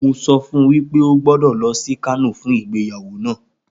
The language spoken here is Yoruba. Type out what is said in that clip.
Mo sọ fún wípé o gbọ́dọ̀ lọ sí Kano fún ìgbéyàwó náà